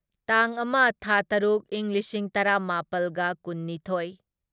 ꯇꯥꯡ ꯑꯃ ꯊꯥ ꯇꯔꯨꯛ ꯢꯪ ꯂꯤꯁꯤꯡ ꯇꯔꯥꯃꯥꯄꯜꯒ ꯀꯨꯟꯅꯤꯊꯣꯢ